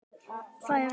Það er eitt.